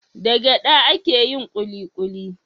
Da gyada ake yin kulikuli